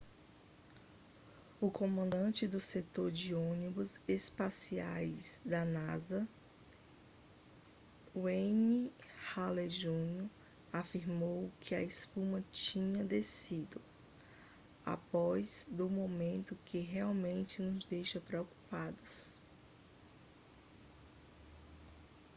o comandante do setor de ônibus espaciais da nasa n wayne hale jr afirmou que a espuma tinha descido após do momemto que realmente nos deixa preocupados